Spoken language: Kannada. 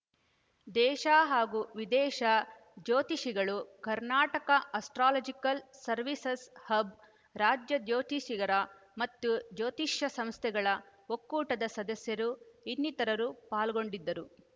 ದೇಶ ಹಾಗೂ ವಿದೇಶ ಜ್ಯೋತಿಷಿಗಳು ಕರ್ನಾಟಕ ಆಸ್ಟ್ರಾಲಾಜಿಕಲ್‌ ಸವೀರ್‍ಸಸ್‌ ಹಬ್‌ ರಾಜ್ಯ ಜ್ಯೋತಿಷ್ಯರ ಮತ್ತು ಜ್ಯೋತಿಷ್ಯ ಸಂಸ್ಥೆಗಳ ಒಕ್ಕೂಟದ ಸದಸ್ಯರು ಇನ್ನಿತರರು ಪಾಲ್ಗೊಂಡಿದ್ದರು